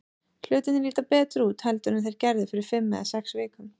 Hlutirnir líta betur út heldur en þeir gerðu fyrir fimm eða sex vikum.